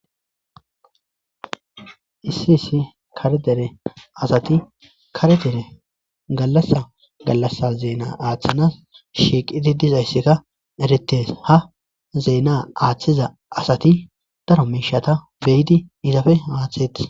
issi issi kare dere asati karedere gallasa gallassa zeena aaththanas shiiqidi dizayssika eretes ha zeena aaththiza asati daro miishata beyidi izafe aaththeti